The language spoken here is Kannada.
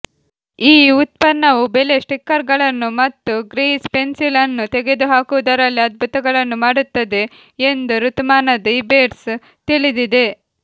ಈ ಉತ್ಪನ್ನವು ಬೆಲೆ ಸ್ಟಿಕ್ಕರ್ಗಳನ್ನು ಮತ್ತು ಗ್ರೀಸ್ ಪೆನ್ಸಿಲ್ ಅನ್ನು ತೆಗೆದುಹಾಕುವುದರಲ್ಲಿ ಅದ್ಭುತಗಳನ್ನು ಮಾಡುತ್ತದೆ ಎಂದು ಋತುಮಾನದ ಇಬೇರ್ಸ್ ತಿಳಿದಿದೆ